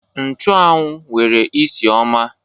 Nchuanwu nwere isi ọma